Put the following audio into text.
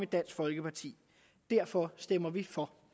dansk folkeparti derfor stemmer vi for